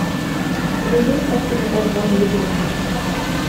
у тебя есть картина тарзан легенда